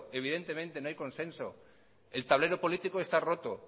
evidentemente no hay consenso el tablero político está roto